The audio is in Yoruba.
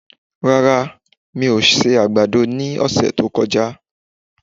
Rárá, mi ò se àgbàdo ní ọ̀sẹ̀ tí ó kọjá